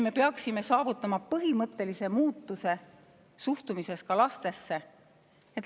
Me peaksime saavutama selle, et suhtumine lastesse muutuks.